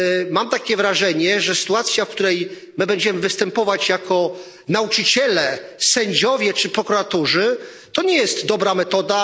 Mam wrażenie, że sytuacja, w której my będziemy występować jako nauczyciele, sędziowie czy prokuratorzy, nie jest dobrą metodą.